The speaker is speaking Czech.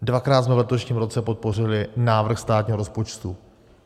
Dvakrát jsme v letošním roce podpořili návrh státního rozpočtu.